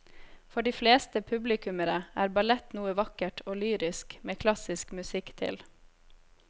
For de fleste publikummere er ballett noe vakkert og lyrisk med klassisk musikk til.